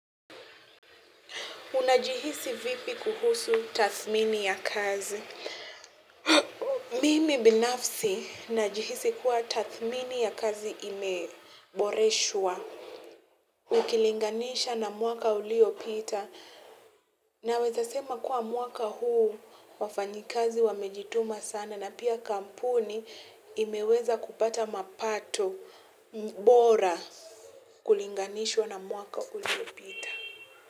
Unajihisi vipi kuhusu tathmini ya kazi Mimi binafsi najihisi kuwa tathmini ya kazi imeboreshwa. Ukilinganisha na mwaka uliopita. Naweza sema kuwa mwaka huu wafanyikazi wamejituma sana na pia kampuni imeweza kupata mapato bora kulinganishwa na mwaka uliopita.